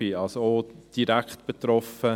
Ich bin also auch direkt betroffen.